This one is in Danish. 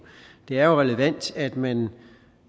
det er jo relevant at man